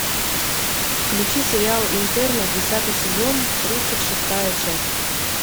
включи сериал интерны десятый сезон тридцать шестая часть